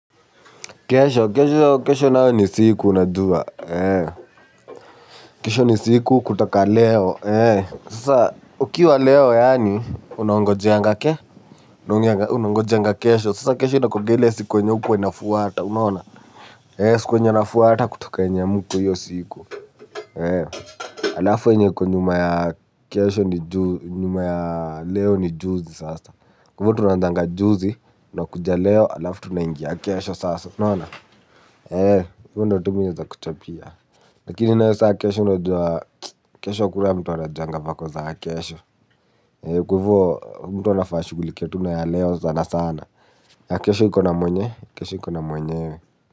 Kesho kesho nayo ni siku unajua. Kesho ni siku kutoka leo. Sasa ukiwa leo yaani unaongojeanga ke unaongojeanga kesho sasa kesho inakuanga ile siku yenye hukuwa inafuata unaona. Siku yenye inafuata kutoka yenye mko hiyo siku. Alafu yenye iko nyuma ya kesho ni juzi. Nyuma ya leo ni juzi sasa. Kwa hivyo tunaanzanga juzi tunakuja leo alafu tunaingia. Kesho sasa unaona ee hivyo ndio tu mimi nawezakuchapia lakini nayo sasa kesho unajua kesho hakuna mtu anajuanga vako za kesho kwa hivyo mtu anafaa ashughulikie tu na ya leo sana sana ya kesho ikona mwenyewe.